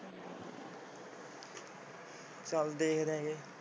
ਚੱਲ ਦੇਖਦੇ ਹਾਂ ਜੇ।